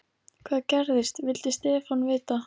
Hvað gerðist? vildi Stefán vita.